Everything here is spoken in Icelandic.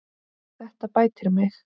Þetta bætir mig.